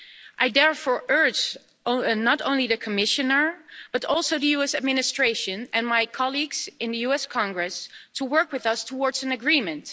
I therefore urge not only the Commissioner but also the US administration and my colleagues in the US Congress to work with us towards an agreement.